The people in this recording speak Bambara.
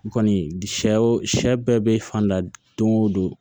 Kɔni sɛw sɛ sɛ sɛ bɛɛ be fan da don o don